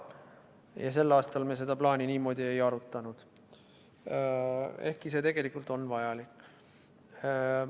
Ja sel aastal me seda plaani niimoodi ei arutanud, ehkki see tegelikult on vajalik.